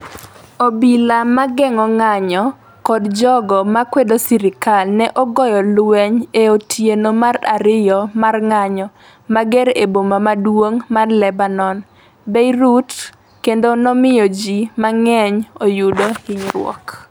Obila mageng'o ng'anjo kod jogo makwedo sirkal ne ogoyo lweny e otieno mar ariyo mar ng'anjo mager e boma maduong' mar Lebanon, Beirut, kendo nomiyo ji mang'eny oyudo hinyruok.